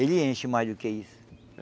Ele enche mais do que isso.